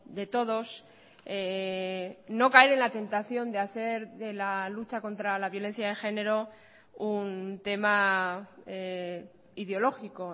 de todos no caer en la tentación de hacer de la lucha contra la violencia de género un tema ideológico